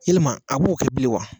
i ma a b'o kɛ bilen wa